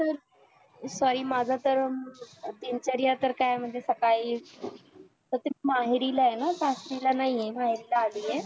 तर sorry माझं तर दिनचर्या तर काय म्हणजे सकाळी तसाच माहेरील आहे ना आता तिला नाही आहे माहेराला अली आहे